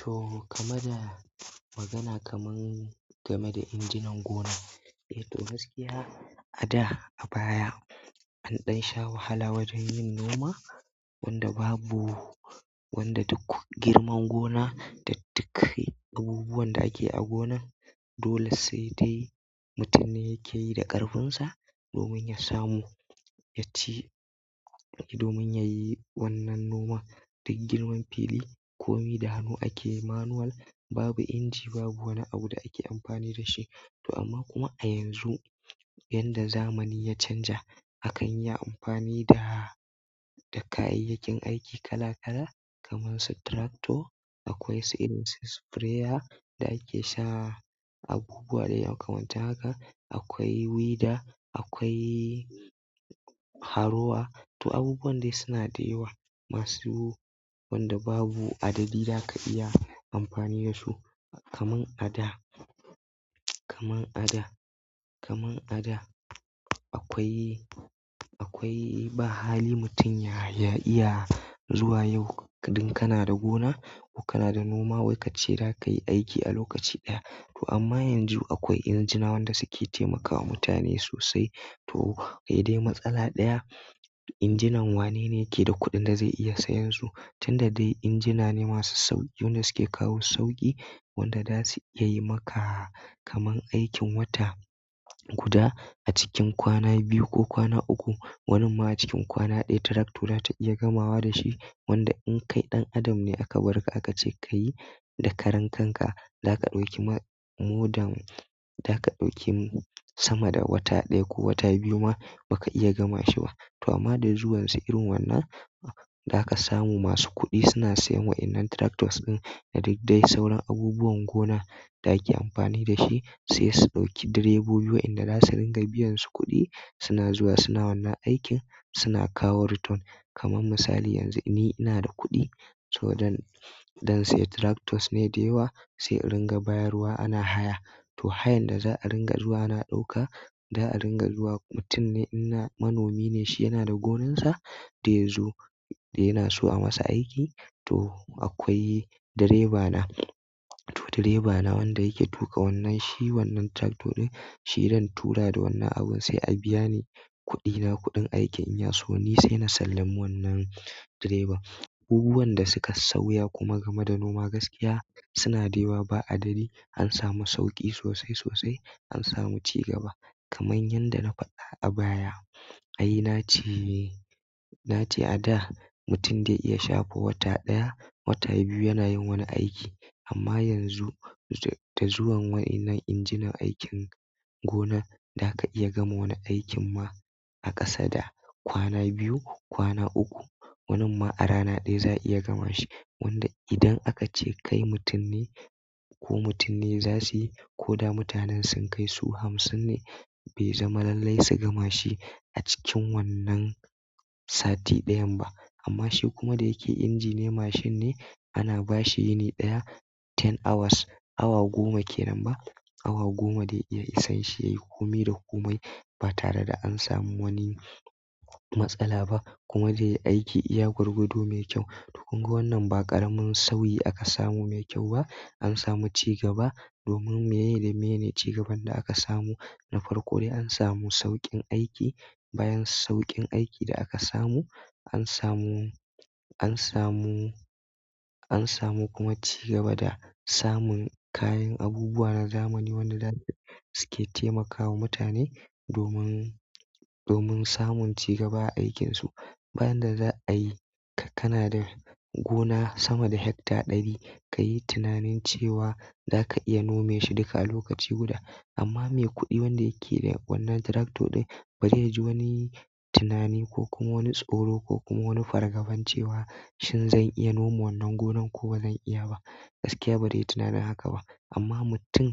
To, gameda magana kamar game da injinan gona. Eh to, gaskiya a da, a baya, an ɗan sha wahala wajen yin noma wanda babu, wanda duk girman gona, da duk abubuwan da ake a gonan dole sai dai mutum ne yakeyi da ƙarfinsa, domin ya samu, yaci, domin yayi wannan noma. Duk girman fili, komi da hannu ake manual, babu inji, babu wani abu da ake amfani da shi. To amma kuma a yanzu, yanda zamani ya canja, akan yi amfani da, da kayayyakin aiki kala kala kamar su tractor, akwai sai irin su sprayer, da ake sa abubuwa da yawa kamar taka, akwai weeder, akwai harrower. To abubuwan dai suna da yawa, masu wanda babu adadi da ka iya amfani da su. Kaman a da, kaman a da, kaman a da, akwai, akwai ba hali mutum ya, ya iya zuwa yau, idan kana da gona, ko kana da noma wai kace za ka yi aiki a lokaci ɗaya. To amma yanzu akwai injina wanda suke taimakawa mutane sosai. To, kai dai matsala ɗaya, injinan wanene yake da kuɗin da zai iya sayan su? Tunda dai injina ne masu sauƙi wanda suke kawo sauƙi, wanda za su iya yi maka kamar aikin wata guda a cikin kwana biyu ko kwana uku, wani ma a cikin kwana ɗaya tractor za ta iya gamawa da shi. Wanda in kai ɗan adam ne aka bar ka aka ce ka yi da karen kanka, za ka ɗauki ma-- more than, za ka ɗauki sama da wata ɗaya ko wata biyu ma ba ka iya gama shi ba. To amma da zuwan sai irin wannan, za ka samu masu kuɗi suna siyan wa'innan tractors ɗin da duk dai sauran abubuwan gona da ake amfani da shi sai su ɗauki direbobi wa inda za su ringa biyan su kuɗi. Suna zuwa, suna wannan aikin, suna kawo return. Kaman misali yanzu ni ina da kuɗi, to zan sayi tractors ne da yawa sai na ringa bayarwa ana haya. To hayan da za a ringa zuwa ana ɗauka, za'a ringa zuwa, mutum ne manomi ne shi yana da gonarsa zai ya zo yana so a masa aiki, to akwai direba na. To direba na wanda yake tuƙa wannan shi wannan tractor ɗin, shi zan tura da wannan abun sai a biya ni kuɗi na kuɗin aikin. In ya so ni sai na sallami wannan direba. Abubuwan da suka sauya kuma game da noma gaskiya suna da yawa ba adadi. An samu sauƙi sosai sosai, an samu cigaba. Kaman yanda na faɗa a baya, ai na ce, na ce a da mutum zai iya shafo wata ɗaya, wata biyu yana yin wani aiki amma yanzu da zuwan wa'innan injinan aikin gona za ka iya gama wani aikin ma a ƙasa da kwana biyu, kwana uku, wani ma a rana ɗaya za'a iya gama shi. Wanda idan aka ce kai mutum ne ko mutum ne za su yi, ko da mutanen sun kai su hamsin ne, bai zama lallai su gama shi a cikin wannan sati ɗayan ba. Amma shi kuma da yake inji ne, mashin ne, ana ba shi yini ɗaya, ten hours, awa goma ke nan ba. Awa goma zai iya isan shi yayi komai da komai ba tare da an samu wani matsala ba. Kuma zai aiki iya gwargwaɗo mai kyau. To kunga wannan ba ƙaramin sauyi aka samu mai kyau ba. An samu cigaba domin me da me cigaban da aka samu? Na farko dai an samu sauƙin aiki. Bayan sauƙin aiki da aka samu, an samu, an samu, an samu kuma cigaba da samun kayan abubuwa na zamani wanda suke taimakawa mutane domin, domin samun cigaba a aikinsu. Bayan da za'a yi, kana da gona sama da hekta ɗari, kayi tunanin cewa za ka iya nome shi duka a lokaci guda. Amma mai kuɗi wanda yake da wannan tractor ɗin bazai ji wani tunani ko kuma wani tsoro ko kuma wani fargaban cewa, shin zan iya noma wannan gonan ko bazan iya ba. Gaskiya bazai yi tunanin haka ba. Amma mutum,